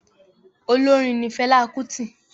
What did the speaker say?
Olórin ni Fẹlá Kútì.